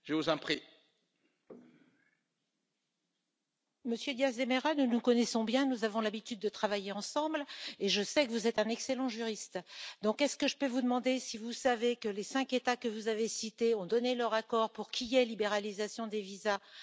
Monsieur Diaz De Mera, nous nous connaissons bien, nous avons l'habitude de travailler ensemble et je sais que vous êtes un excellent juriste. Alors, puis je vous demander si vous savez que les cinq États que vous avez cités ont donné leur accord pour qu'il y ait libéralisation des visas, indépendamment de la question de la reconnaissance du Kosovo?